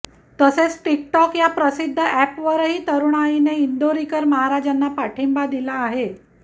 तसेच टिकटॉक या प्रसिद्ध अॅपवरही तरुणाईने इंदोरीकर महाराजांना पाठिंबा दिला आहे